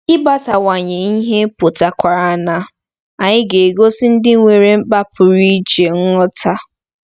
Ịgbasawanye ihe pụtakwara na anyị ga-egosi ndị nwere mkpa pụrụ iche nghọta.